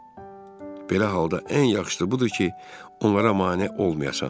Belə halda ən yaxşısı budur ki, onlara mane olmayasan.